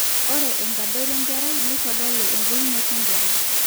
ore enkadoro enkerai neitodolu embulunoto enkerai